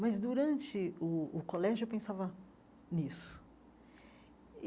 Mas durante o o colégio eu pensava nisso.